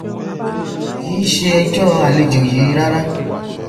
kìí ṣe ẹjọ àlejò yìí rárá